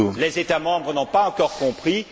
Les États membres n'ont pas encore compris.